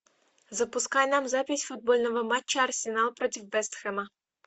запускай нам запись футбольного матча арсенал против вест хэма